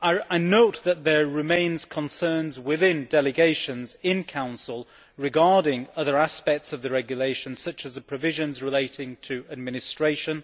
I note that there remain concerns within delegations in the Council regarding other aspects of the regulation such as the provisions relating to administration.